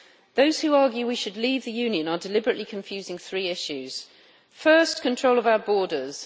Those who argue we should leave the Union are deliberately confusing three issues first, control of our borders.